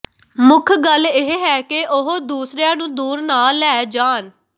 ਮੁੱਖ ਗੱਲ ਇਹ ਹੈ ਕਿ ਉਹ ਦੂਸਰਿਆਂ ਨੂੰ ਦੂਰ ਨਾ ਲੈ ਜਾਣ